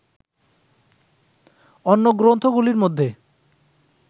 অন্য গ্রন্থগুলির মধ্যে